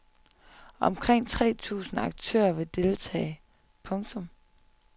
Omkring tre tusinde aktører vil deltage. punktum